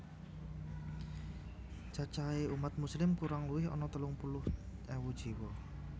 Cacahé umat Muslim kurang luwih ana telung puluh ewu jiwa